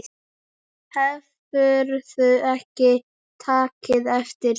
Hefurðu ekki tekið eftir því?